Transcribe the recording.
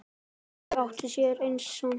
Þau áttu sér einn son.